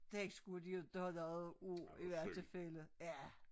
Den skulle de inte have noget af i hvert tilfælde ja